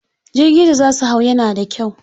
Jirgi da za su hau yana da kyau.